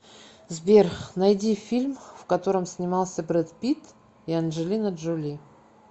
сбер найди фильм в котором снимался бред питт и анджелина джоли